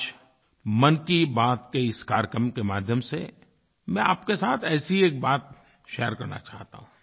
आज मन की बात के इस कार्यक्रम के माध्यम से मैं आपके साथ ऐसी एक बात शेयर करना चाहता हूँ